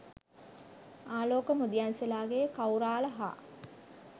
ආලෝක මුදියන්සේලාගේ කෞරාල හා